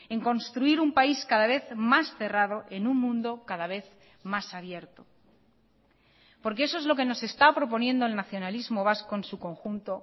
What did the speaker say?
en construir un país cada vez más cerrado en un mundo cada vez más abierto porque eso es lo que nos está proponiendo el nacionalismo vasco en su conjunto